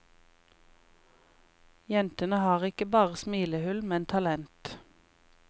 Jentene har ikke bare smilehull, men talent.